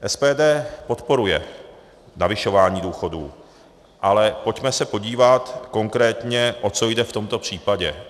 SPD podporuje navyšování důchodů, ale pojďme se podívat konkrétně, o co jde v tomto případě.